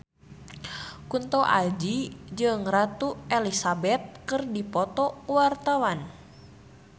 Kunto Aji jeung Ratu Elizabeth keur dipoto ku wartawan